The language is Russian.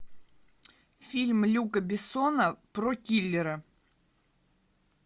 фильм люка бессона про киллера